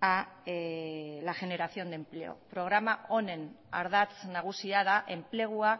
a la generación de empleo programa honen ardatz nagusia da enplegua